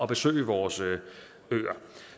besøge vores øer